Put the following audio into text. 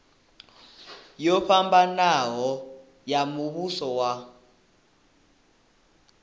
yo fhambanaho ya muvhuso wa